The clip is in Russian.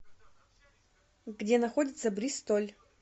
где находится бристоль